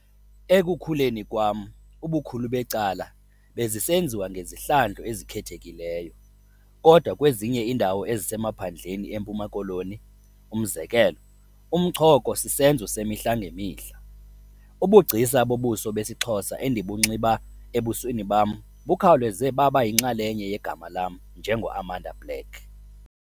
Ekukhuleni kwam, ubukhulu becala bezisenziwa ngezihlandlo ezikhethekileyo - kodwa kwezinye iindawo ezisemaphandleni eMpuma Koloni, umzekelo, umchoko sisenzo semihla ngemihla. Ubugcisa bobuso besiXhosa endibunxiba ebusweni bam bukhawuleze baba yinxalenye yegama lam njengoAmanda Black.